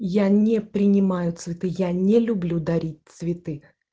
я не принимаю цветы я не люблю дарить цветы